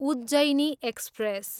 Ujjaini express